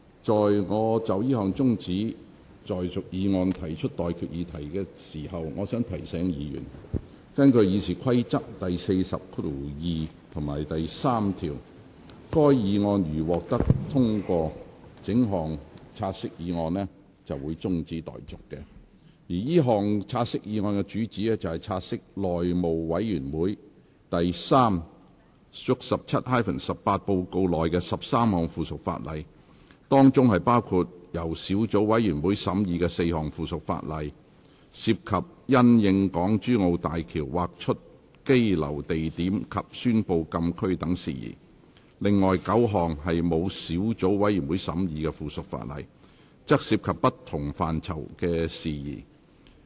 在我就這項中止待續議案提出待議議題前，我想提醒議員，根據《議事規則》第402及3條，該項議案如獲得通過，整項"察悉議案"的辯論即告中止待續，而這項"察悉議案"的主旨是，察悉內務委員會第 3/17-18 號報告內的13項附屬法例，當中包括由小組委員會審議的4項附屬法例，涉及因應港珠澳大橋而劃出羈留地點及宣布禁區等事宜；另外9項沒有小組委員會審議的附屬法例，則涉及不同範疇的事宜。